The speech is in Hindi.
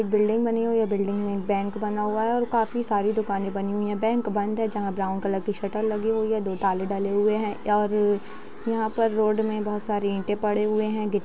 ये बिल्डिंग बनी हुई है बिल्डिंग में एक बैंक बना हुआ है काफी सारी दुकाने बनी हुई है बैंक बंद है ब्राउन कलर की शटर लगी हुई है दो ताले डले हुए है और यहाँ पर रोड में बहुत सारे ईटे पड़े हुए है गी --